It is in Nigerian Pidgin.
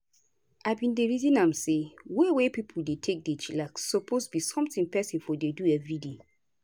i bin dey reason am say way wey pipo dey take chillax suppose be something peson for dey do everyday.